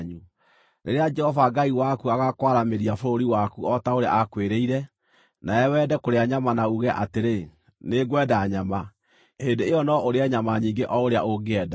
Rĩrĩa Jehova Ngai waku agaakwaramĩria bũrũri waku o ta ũrĩa aakwĩrĩire, nawe wende kũrĩa nyama na uuge atĩrĩ, “Nĩngwenda nyama,” hĩndĩ ĩyo no ũrĩe nyama nyingĩ o ũrĩa ũngĩenda.